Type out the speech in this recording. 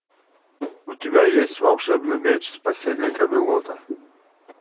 у тебя есть волшебный меч спасение камелота